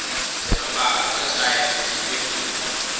swiambalo swachina swichipile swinene